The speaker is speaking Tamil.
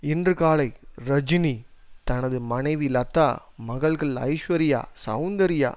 இன்று காலை ரஜினி தனது மனைவி லதா மகள்கள் ஐஸ்வர்யா செளந்தர்யா